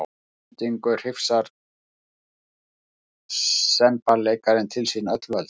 Að endingu hrifsar semballeikarinn til sín öll völd.